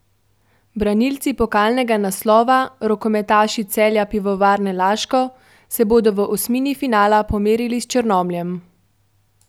Branilci pokalnega naslova, rokometaši Celja Pivovarne Laško, se bodo v osmini finala pomerili s Črnomljem.